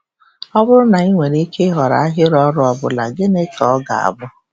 Ọ bụrụ na ị nwere ike ịhọrọ ahịrị ọrụ ọ bụla, gịnị ka ọ ga-abụ?